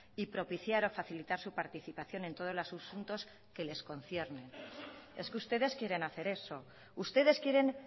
y propiciar o facilitar su participación en todos los asuntos que les conciernen es que ustedes quieren hacer eso ustedes quieren